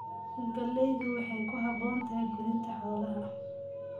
Galleydu waxay ku habboon tahay quudinta xoolaha.